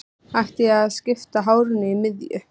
Ætti ég að skipta hárinu í miðju?